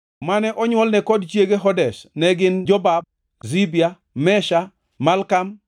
Mane onywolne kod chiege Hodesh, ne gin Jobab, Zibia, Mesha, Malkam,